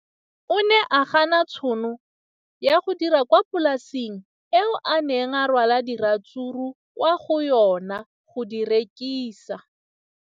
O ne a gana tšhono ya go dira kwa polaseng eo a neng rwala diratsuru kwa go yona go di rekisa.